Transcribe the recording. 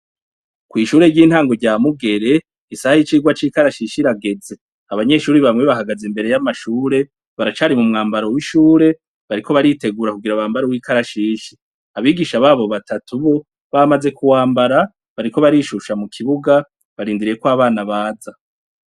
Kw'ishure ry'intango rya mugere ,isaha y'icirwa c'ikarashishi irageze ,abanyeshuri bamwe bahagaze imbere y'ishure, baracari m'umwambaro w'ishure, bariko baritegura kugira bambare uw'ikarashishi, abigisha babo batatu bamaze kuwambara, bariko barishusha mukibuga barindiriye ko abana abaza.